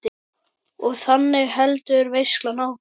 Og þannig heldur veislan áfram.